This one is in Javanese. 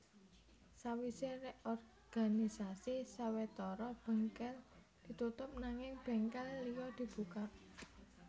Sawisé reorganisasi sawetara bèngkèl ditutup nanging bèngkèl liya dibuka